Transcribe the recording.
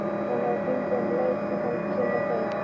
Hann á að hringja um leið og hann kemur heim.